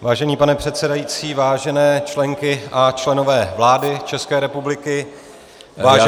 Vážený pane předsedající, vážené členky a členové vlády České republiky, vážené kolegyně -